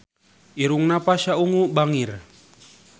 Irungna Pasha Ungu bangir